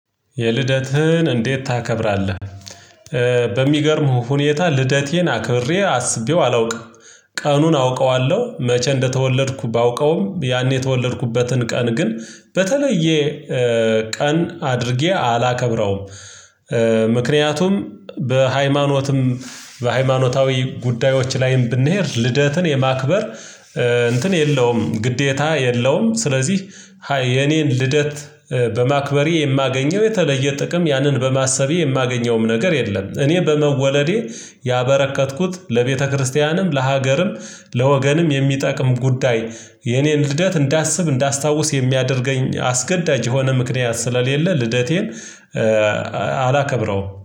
የልደትህን እንዴት ታከብራለህ? በሚገርምህ ሁኔታ ልደቴን አክብሬ አስቤው አላውቅም። ቀኑን አውቀዋለሁ መቼ እንደተወለድኩ ባውቀውም ያኔ የተወለድኩበትን ቀን ግን በተለየ ቀን አድርጌ አላከብረውም። ምክንያቱም በሃይማኖትም በሃይማኖታዊ ጉዳዮች ላይም ብንሄድ ልደትን የማክበር እንትን የለውም ግዴታ የለውም። ስለዚህ የኔን ልደት በማክበሬ የማገኘው የተለየ ጥቅም ያንን በማሰቤ የማገኘውም ነገር የለም። እኔ በመወለዴ ያበረከትኩት ለቤተክርስቲያንም ለሀገርም ለወገንም የሚጠቅም ጉዳይ። የኔን ልደት እንዳስብ እንዳስታውስ የሚያደርገኝ አስገዳጅ የሆነ ምክንያት ስለሌለ ልደቴን አላከብረውም